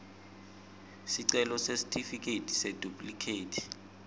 sicelo sesitifiketi seduplikhethi